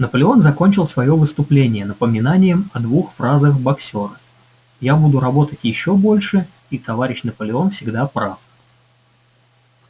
наполеон закончил своё выступление напоминанием о двух фразах боксёра я буду работать ещё больше и товарищ наполеон всегда прав